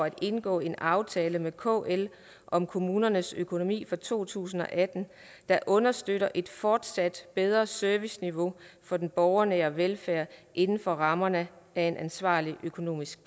at indgå en aftale med kl om kommunernes økonomi for to tusind og atten der understøtter et fortsat bedre serviceniveau for den borgernære velfærd inden for rammerne af en ansvarlig økonomisk